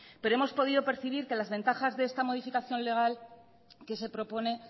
pero hemos podido percibir que las ventajas de esta modificación legal que se propone